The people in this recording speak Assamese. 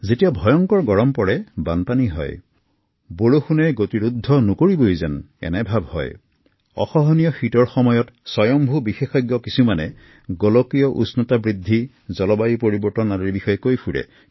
যেতিয়াই আমি তীব্ৰ গ্ৰীষ্ম প্ৰবাহ বানপানী প্ৰবল বৃষ্টিপাত প্ৰচণ্ড শীতৰ কথা পাতো তেতিয়া সকলো একো একোজন বিশেষজ্ঞ হৈ যায় গোলকীয় উষ্ণতা আৰু বতৰ পৰিৱৰ্তনৰ কথা আলোচনা কৰো